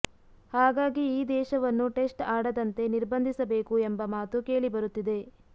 ಹಾಗಾಗಿ ಈ ದೇಶವನ್ನು ಟೆಸ್ಟ್ ಆಡದಂತೆ ನಿರ್ಬಂಧಿಸಬೇಕು ಎಂಬ ಮಾತು ಕೇಳಿಬರುತ್ತಿದೆ